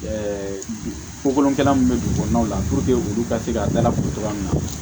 Ɛɛ kokolonkɛla mun be dugukɔnɔnaw la puruke olu ka se ka dalatuguya min na